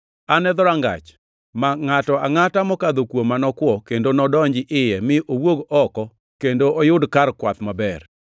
An e dhorangach; ma ngʼato angʼata mokadho kuoma nokwo kendo nodonj iye mi owuog oko kendo oyud kar kwath maber.